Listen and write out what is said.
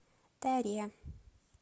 таре